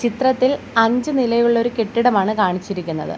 ചിത്രത്തിൽ അഞ്ച് നിലയുള്ള ഒരു കെട്ടിടമാണ് കാണിച്ചിരിക്കുന്നത്.